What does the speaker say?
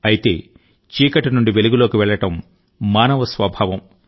అయితే చీకటి నుండి వెలుగులోకి వెళ్లడం మానవ స్వభావం